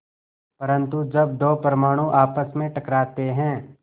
परन्तु जब दो परमाणु आपस में टकराते हैं